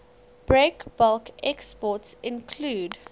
breakbulk exports include